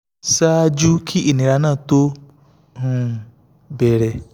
ṣáájú kí ìnira náà tó um bẹ̀rẹ̀ um